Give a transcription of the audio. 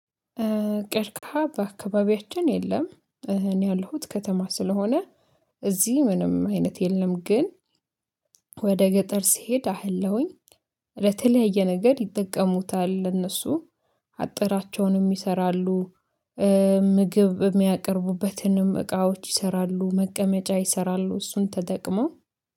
ቀርቀሃ በአካባቢያችን የለም። እኔ ያለሁት ከተማ ስለሆነ እዚህ ምንምሠ አይነት የለም። ግን ወደ ገጠር ስሄድ አያለሁኝ ለተለያየ ነገር ይጠቀሙታል። ለእነሱ አጥራቸውንም ይሰራሉ። ምግብ እሚያቀርቡበትንም እቃዎች ይሰራሉ መቀመጫ ይሰራሉ እሱን ተጠቅመው